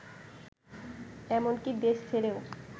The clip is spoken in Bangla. এমনকি দেশ ছেড়েও